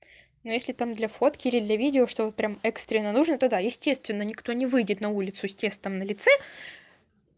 ну если там для фотки или для видео чтобы прям экстренно нужно то да естественно никто не выйдет на улицу с тестом на лице